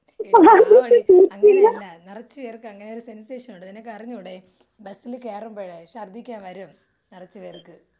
എടി പാവടി അങ്ങനെയല്ല നിറച്ച് പേർക്ക് അങ്ങനെയൊരു സെൻസേഷൻ ഉണ്ട് നിനക്കറിഞ്ഞൂടെ ബസ്സിൽ കയറുമ്പോഴ് ശർദ്ധിക്കാൻ വരും നറച്ച് പേർക്ക്.